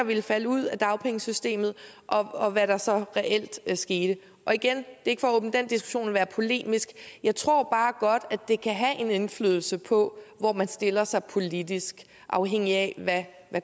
ville falde ud af dagpengesystemet og hvad der så reelt skete og igen ikke for at åbne den diskussion og være polemisk jeg tror bare godt at det kan have en indflydelse på hvor man stiller sig politisk afhængigt af hvad